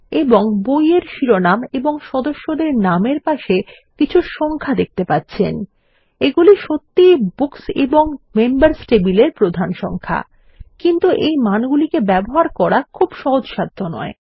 এবং বইয়ের শিরোনাম ও সদস্যদের নাম এর পাশে কিছু সংখ্যা দেখতে পাচ্ছেন এগুলি সত্যিই বুকস এবং মেম্বার্স টেবিলের প্রধান সংখ্যা কিন্তু এই মানগুলিকে ব্যবহার করা খুব সহজসাধ্য নয়